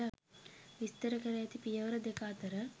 විස්තර කර ඇති පියවර දෙක අතර